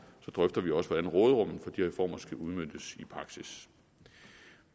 så drøfter vi også hvordan råderummet for de reformer skal udmøntes i praksis